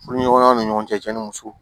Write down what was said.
Furuɲɔgɔnya ni ɲɔgɔn cɛ ni muso